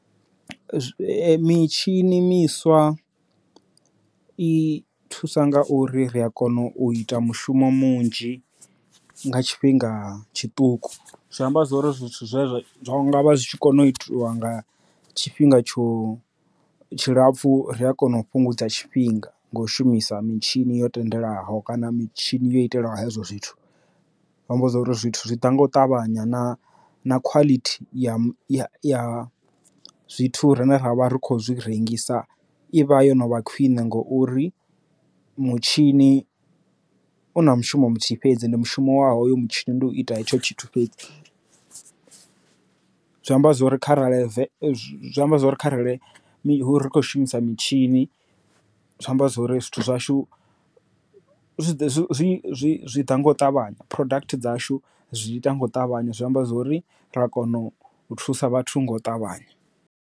Mitshini miswa i thusa nga uri ri a kona u ita mushumo munzhi nga tshifhinga tshiṱuku, zwi amba zwori zwithu zwine zwa ngavha zwi tshi kona u itiwa nga tshifhinga tsho tshilapfu ri a kona u fhungudza tshifhinga nga u shumisa mitshini yo tendelaho kana mitshini yo itelwa hezwo zwithu vha mmbudza uri zwithu zwi ḓa nga u ṱavhanya na na khwalithi ya zwithu rine ra vha ri khou zwi rengisa ivha yo novha khwine ngouri mutshini u na mushumo muthihi fhedzi ndi mushumo wavho yo mutshini ndi u ita hetsho tshithu fhedzi zwi amba zwori kharali zwi amba zwori kharali mihulu ri kho shumisa mitshini zwi amba zwori zwithu zwashu zwi ḓa nga u ṱavhanya product dzashu zwi ita nga u ṱavhanya zwi amba zwori ra kona u thusa vhathu nga u ṱavhanya.